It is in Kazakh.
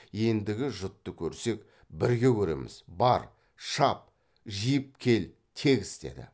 ендігі жұтты көрсек бірге көреміз бар шап жиып кел тегіс деді